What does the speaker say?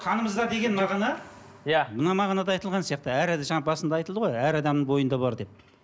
қанымызда деген мағына иә мына мағынада айтылған сияқты әр жаңа басында айтылды ғой әр адамның бойында бар деп